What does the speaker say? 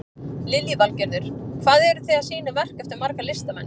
Lillý Valgerður: Hvað eru þið að sýna verk eftir marga listamenn?